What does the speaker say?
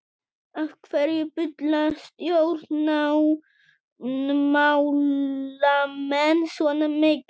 Af hverju bulla stjórnmálamenn svona mikið?